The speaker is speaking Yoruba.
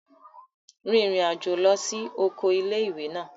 Rin ìrìn àjò lọ sí oko ilé-ìwé náà